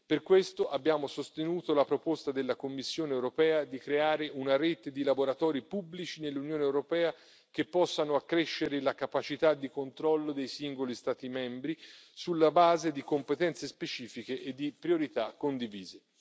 Per questo abbiamo sostenuto la proposta della Commissione europea di creare una rete di laboratori pubblici nell'Unione europea, che possano accrescere la capacità di controllo dei singoli Stati membri, sulla base di competenze specifiche e di priorità condivise.